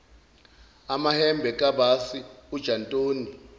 amahembe kabasi ujantoni